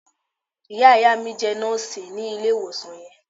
Ìyá- ìyá mi jé Nóòsì ní ilè ìwòsàn yẹn